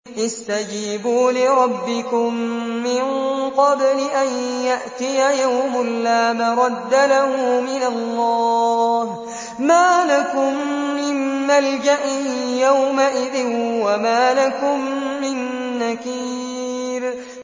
اسْتَجِيبُوا لِرَبِّكُم مِّن قَبْلِ أَن يَأْتِيَ يَوْمٌ لَّا مَرَدَّ لَهُ مِنَ اللَّهِ ۚ مَا لَكُم مِّن مَّلْجَإٍ يَوْمَئِذٍ وَمَا لَكُم مِّن نَّكِيرٍ